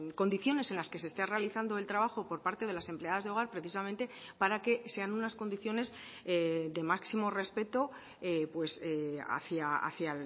condiciones en las que se esté realizando el trabajo por parte de las empleadas de hogar precisamente para que sean unas condiciones de máximo respeto hacia